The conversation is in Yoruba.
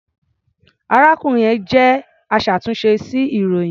Arákùnrin yẹn jẹ́ aṣàtúnṣe sí ilròyìn.